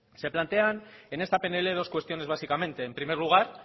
se plantean en esta pnl dos cuestiones básicamente en primer lugar